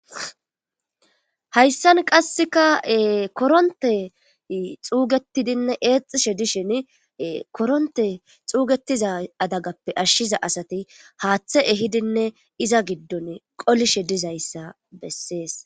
hayssan qasseka koronte xuugetidinne eexxishe dishin koronte xuugetiza adagappe ashshiza asati haaththe ehidinne iza giddon qolishe dizayssa bessees